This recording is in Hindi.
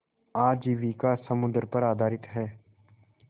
आजीविका समुद्र पर आधारित है